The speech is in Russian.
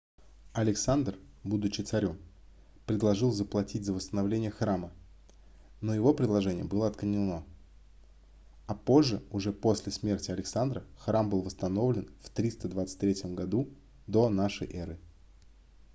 александр будучи царём предложил заплатить за восстановление храма но его предложение было отклонено а позже уже после смерти александра храм был восстановлен в 323 году до нашей эры